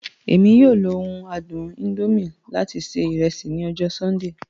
Emi yoo lo oun adun indomie lati ṣe iresi ni ọjọ Sundee.